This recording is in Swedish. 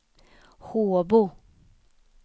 Håbo